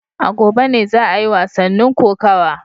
A gobe ne za a yi wasannin kokawa